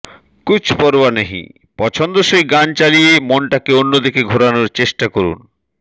কুছ পরোয়া নেহি পছন্দসই গান চালিয়ে মনটাকে অন্যদিকে ঘোরানোর চেষ্টা করুন